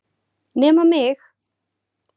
Nema mig!